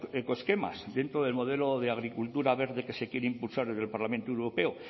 eco esquemas dentro del modelo de agricultura verde que se quiere impulsar desde el parlamento europeo